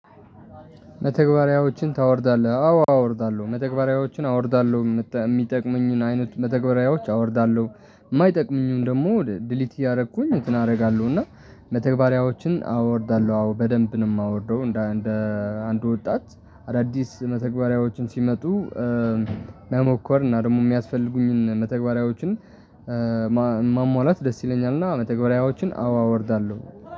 መተግበሪያዎችን ታወርዳለህ አዎ አወርዳለሁ መተግበሪያዎችን አወርዳለሁ የሚጠቅሙኝን አይነት መተግበሪያዎች አወርዳለሁ የማይጠቅሙኝን ደግሞ ድሊት እያደረኩኝ እንትን አደርጋለሁ እና መተግበሪያዎችን አወርዳለሁ አዎ በደንብ ነው የማወርደው። እንደ አንድ ወጣት አዳዲስ መተግባሪያዎችም ሲመጡ መሞከር እና ደግሞ የሚያስፈልጉኝን መተግበሪያዎችን ማሟላት ደስ ይለኛል። እና መተግበሪያዎችን አዎ አወርዳለሁ።